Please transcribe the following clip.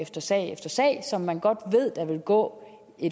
efter sag efter sag som man godt ved der vil gå i